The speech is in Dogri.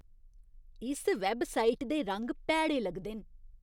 इस वैबसाइट दे रंग भैड़े लगदे न।